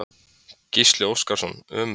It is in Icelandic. Gísli Óskarsson: Ömurlegt?